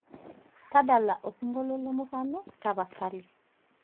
tadala osingolio le murano tapasali